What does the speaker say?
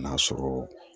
N'a sɔrɔ